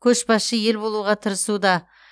көшбасшы ел болуға тырысуда